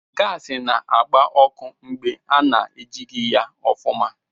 Gaasị na-agbá ọkụ mgbe ana-ejighị ya ofuma.